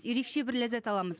ерекше бір ләззат аламыз